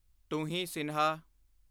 ਤੁਹੀਂ ਸਿਨਹਾ